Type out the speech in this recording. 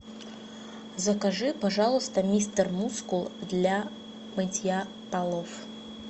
закажи пожалуйста мистер мускул для мытья полов